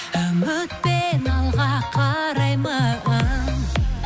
үмітпен алға қараймын